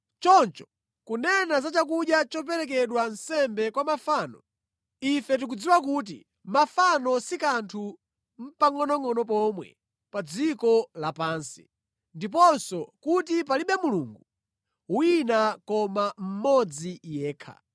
Choncho kunena za chakudya choperekedwa nsembe kwa mafano; ife tikudziwa kuti mafano si kanthu nʼpangʼonongʼono pomwe pa dziko lapansi, ndiponso kuti palibe Mulungu wina koma mmodzi yekha.